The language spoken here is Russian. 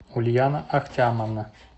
ульяна актямовна